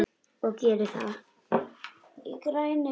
Og geri það.